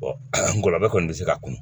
ngɔlɔbɛ kɔni bɛ se ka kunu